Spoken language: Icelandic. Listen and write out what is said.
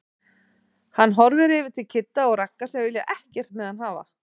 Hann horfir yfir til Kidda og Ragga sem vilja ekkert með hann hafa.